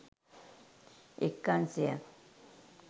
එක් අංශයක්